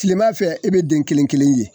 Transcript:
Tilema fɛ e be den kelen-kelen ye.